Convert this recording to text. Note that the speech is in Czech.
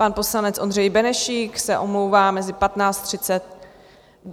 Pan poslanec Ondřej Benešík se omlouvá do 15.30 z pracovních důvodů.